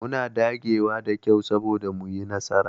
Muna dagewa da kyau soboda mu yi nasara.